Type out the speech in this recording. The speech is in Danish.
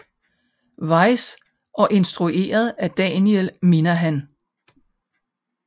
Weiss og instrueret af Daniel Minahan